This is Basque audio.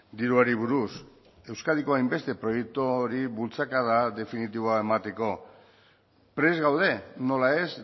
diruari buruz euskadiko hainbeste proiekturi bultzakada definitiboa emateko prest gaude nola ez